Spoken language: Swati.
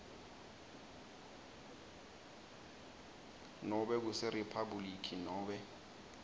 nobe kuseriphabhuliki nobe